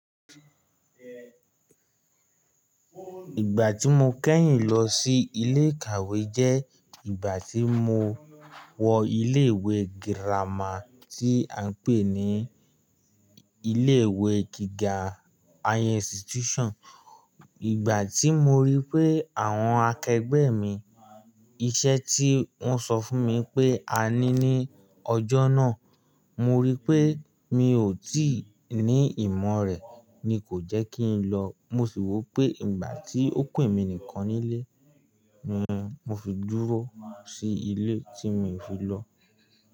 Ìgbà tí mo kẹ́yìn lọ sí ilé ìkàwé jẹ́ ìgbà tí mo wọ ilé ìwé girama tí à ń pè ní ilé ìwé gíga higher institution. Ìgbà tí mo rí i pé àwọn akẹgbẹ́ mi iṣẹ́ tí wọ́n sọ fún mi pé a ní ní ọjọ́ náà, mo rí i pé mi ò tí ì ní ìmọ̀ rẹ̀ ni kò jẹ́ kí n lọ. Mo sì wo pé ìgbà tí ó ku emí nìkan nílé, ni mo fi dúró sí ilé tí mio fi lọ.